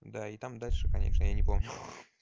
да и там дальше конечно я не помню